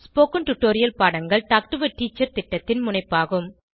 spoken tutorial பாடங்கள் talk to a teacher திட்டத்தின் முனைப்பாகும்